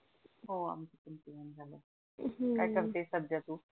हो आमच पण जेवण हम्म काय करते सध्या तु?